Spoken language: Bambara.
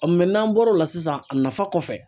n'an bɔra o la sisan a nafa kɔfɛ